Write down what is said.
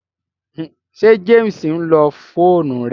Ṣé James ǹlo fóònù rẹ?